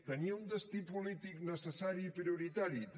tenia un destí polític necessari i prioritari també